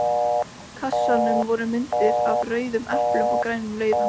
kassanum voru myndir af rauðum eplum og grænum laufum.